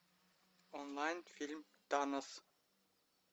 онлайн фильм танос